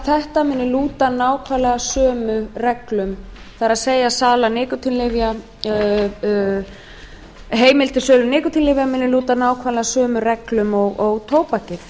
þetta muni lúta nákvæmlega sömu reglum það er að heimild til sölu nikótínlyfja muni lúta nákvæmlega sömu reglum og tóbakið